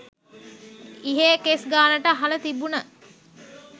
ඉහේ කෙස් ගානට අහල තිබුන